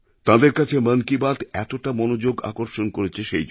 তাঁদের কাছে মন কি বাত এতটা মনোযোগ আকর্ষণ করেছে সেই জন্য